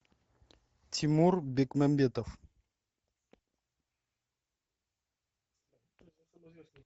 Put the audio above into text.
тимур бекмамбетов